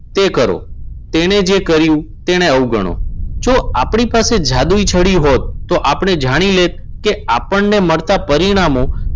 તે કરો. તેણે જે કર્યું તેને અવગણો. જો આપણી પાસે જાદુઈ છડી હોત, તો આપણે જાણી લે કે આપણને મળતા પરિણામો